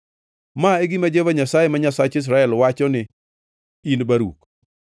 “Ma e gima Jehova Nyasaye, ma Nyasach Israel, wachoni, in Baruk: